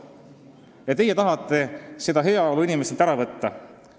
Aga teie tahate seda heaolu inimestelt ära võtta!